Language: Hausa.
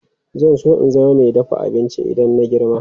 Zan so in zama mai dafa abinci idan na girma.